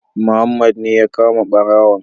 Muhammad ne ya kama ɓarawon